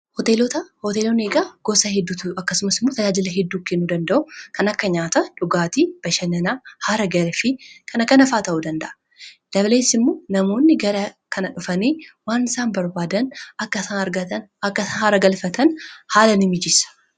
hotelonni gosaa hedduudha akkasumas immootajaajila hedduukennu danda'u kana akkanyaata dhugaatii bashannanaa haara galfii ykna kanafaata'u danda dabalees immoo namoonni gara kana dhufanii waan isaan barbaadan hara galfatan haalani mijeessa